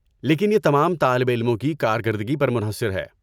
لیکن یہ تمام طالب علموں کی کارکردگی پر منحصر ہے۔